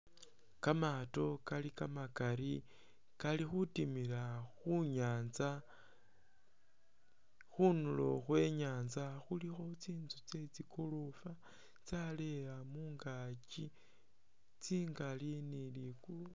Kamaato kali kamakali kalikhutimila khunyatsa khunulo khwenyatsa khulikho tsintsu tse tsikolofa tsaleya mungakyi tsingali ni likulu